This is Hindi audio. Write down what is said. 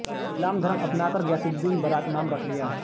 इस्लाम धर्म अपना कर गयासउददीन बाराक नाम रख लिया